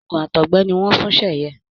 oògùn àtọgbẹ ni wọn ń fún Seye.